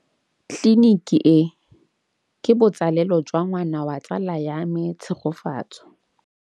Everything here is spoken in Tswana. Tleliniki e, ke botsalêlô jwa ngwana wa tsala ya me Tshegofatso.